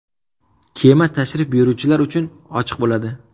Kema tashrif buyuruvchilar uchun ochiq bo‘ladi.